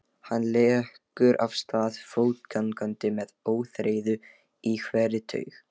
Hann leggur af stað fótgangandi með óþreyju í hverri taug.